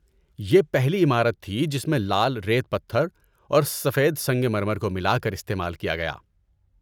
یہ پہلی عمارت تھی جس میں لال ریت پتھر اور سفید سنگ مرمر کو ملا کر استعمال کیا گیا۔